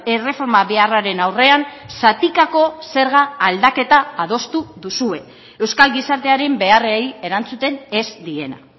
erreforma beharraren aurrean zatikako zerga aldaketa adostu duzue euskal gizartearen beharrei erantzuten ez diena